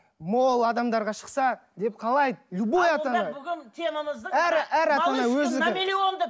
мол адамдарға шықса деп қалай любой ата ана